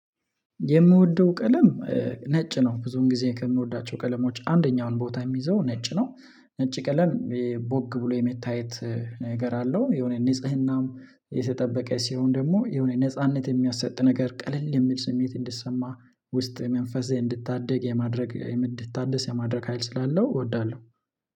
የምወደው ቀለም ነጭ ነው ብዙን ጊዜ ከምወዳቸው ቀለሞች አንደኛውን ቦታ የሚይዘው ነጭ ነው። ነጭ ቀለል ቦግ ብሎ የመታየት ነገር አለው የሆነ ንጽህናም የተጠበቀ ሲሆን ደግሞ የሆነ ነጻነት የሚያሰጥ ነገር ቀለል የሚል ስሜት እንድሰማ ውስጥ መንፈሴ እንድታደግ የማድረግ እንድታደስ የማድረግ ሀይል ስላለው እወዳለሁ